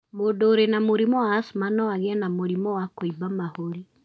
Mũndũ ũrĩ na mũrimũ wa asthma no agĩe na mũrimũ wa kũimba mahũri.